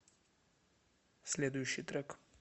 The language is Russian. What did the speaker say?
следующий трек